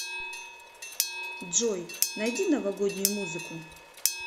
джой найди новогоднюю музыку